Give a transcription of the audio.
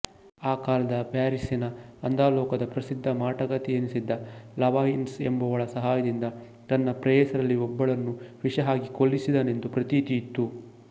ಆ ಕಾಲದ ಪ್ಯಾರಿಸ್ಸಿನ ಅಧೋಲೋಕದ ಪ್ರಸಿದ್ಧ ಮಾಟಗಾತಿಯೆನಿಸಿದ್ದ ಲವಾಯ್ಸಿನ್ ಎಂಬುವಳ ಸಹಾಯದಿಂದ ತನ್ನ ಪ್ರೇಯಸಿಯರಲ್ಲಿ ಒಬ್ಬಳನ್ನು ವಿಷಹಾಕಿ ಕೊಲ್ಲಿಸಿದನೆಂದ ಪ್ರತೀತಿಯಿತ್ತು